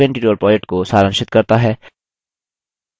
यह spoken tutorial project को सारांशित करता है